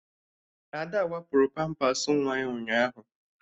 Ada wapụrụ pampas nwa ya ụnyaahụ